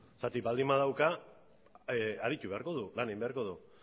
zergatik baldin badauka aritu beharko du lan egin beharko du